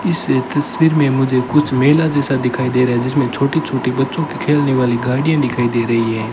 इस तस्वीर में मुझे कुछ मेला जैसा दिखाई दे रहा है जिसमें छोटी छोटी बच्चों के खेलने वाली गाड़ियां दिखाई दे रही है।